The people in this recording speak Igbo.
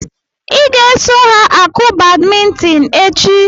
I ga-eso ha akụ badmintin echi!